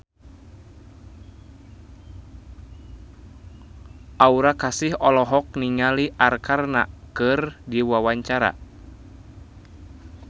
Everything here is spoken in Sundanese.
Aura Kasih olohok ningali Arkarna keur diwawancara